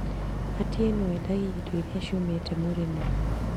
Atieno endagia indo iria ciumĩte mũrĩmo